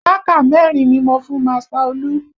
Mákà mẹ́rin ni mo fún master Olu